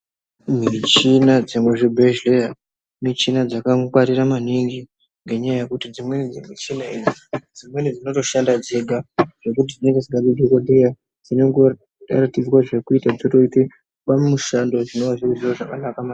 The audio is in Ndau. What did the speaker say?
Michina dzemuzvibhehleya, michina dzakangwirira maningi ngenyaya yekuti dzimweni dzemichina idzi dzimweni dzinotoshanda dzega zvekuti dzinonga dzisingadi dhogodheya, dzinongoratidzwa zvekuita dzotoita mushando zvinova zviri zviro zvakanaka maningi.